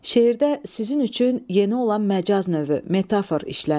Şeirdə sizin üçün yeni olan məcaz növü, metafor işlənib.